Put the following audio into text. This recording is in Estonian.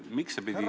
Miks see pidi ...